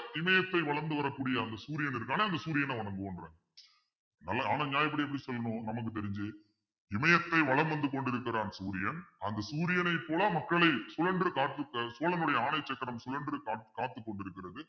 இமயத்தை வளர்ந்து வரக்கூடிய அந்த சூரியன் இருக்கான்னா அந்த சூரியனை வணங்குவோன்றாங்க ஆனா நியாயப்படி எப்படி சொல்லணும் நமக்கு தெரிஞ்சு இமயத்தை வலம் வந்து கொண்டிருக்கிறான் சூரியன் அந்த சூரியனைப் போல மக்களை சுழன்று காத்து க~ சோழனுடைய ஆணை சக்கரம் சுழன்று காத்துக் கொண்டிருக்கிறது